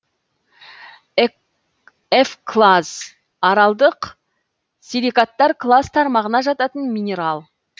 эвклаз аралдық силикаттар класс тармағына жататын минерал